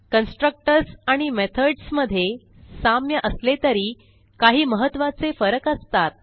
constructors आणि methods मधे साम्य असले तरी काही महत्त्वाचे फरक असतात